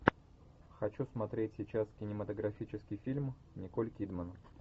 хочу смотреть сейчас кинематографический фильм николь кидман